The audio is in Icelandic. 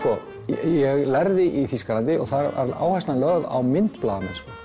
ég lærði í Þýskalandi og þar var áherslan lögð á myndblaðamennsku